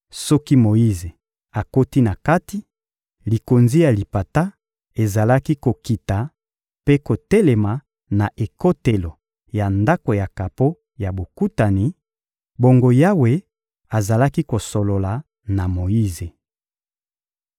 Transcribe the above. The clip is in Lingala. Soki Moyize akoti na kati, likonzi ya lipata ezalaki kokita mpe kotelema na ekotelo ya Ndako ya kapo ya Bokutani; bongo Yawe azalaki kosolola na Moyize.